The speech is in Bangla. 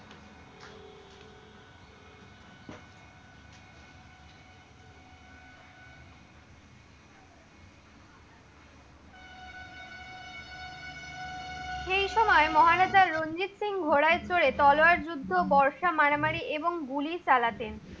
সে সময় মহারাজা রঞ্জিত সিং ঘোড়ায় চরে তলয়ার যুদ্ধ, বর্ষা মারামারি এবং গুলি চালাতেন।